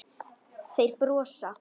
Þeir brosa.